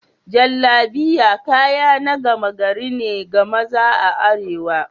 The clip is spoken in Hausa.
Jallabiya kaya na gama gari ne ga maza a arewa.